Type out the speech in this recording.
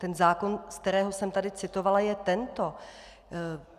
Ten zákon, z kterého jsem tady citovala je tento.